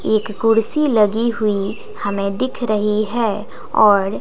एक कुर्सी लगी हुई हमें दिख रही है और--